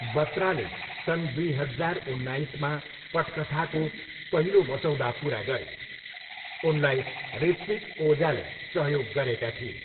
बत्राले सन् दुई हजार उन्नाइसमा पटकथाको पहिलो मसौदा पुरा गरे। उनलाई ऋत्विक ओजाले सहयोग गरेका थिए।